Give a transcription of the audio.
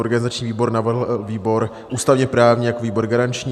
Organizační výbor navrhl výbor ústavně-právní jako výbor garanční.